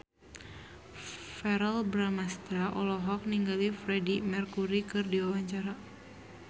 Verrell Bramastra olohok ningali Freedie Mercury keur diwawancara